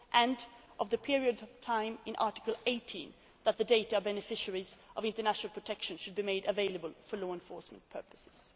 a border and of the period of time in Article 18 that the data on beneficiaries of international protection should be made available for law enforcement